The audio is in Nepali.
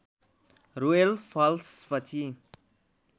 रोयल फ्लस पछि